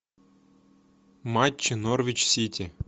матчи норвич сити